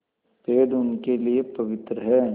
पेड़ उनके लिए पवित्र हैं